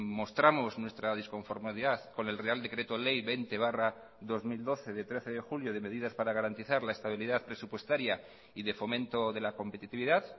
mostramos nuestra disconformidad con el real decreto ley veinte barra dos mil doce de trece de julio de medidas para garantizar la estabilidad presupuestaria y de fomento de la competitividad